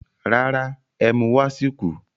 Rárá, ẹ́mú wá sì kù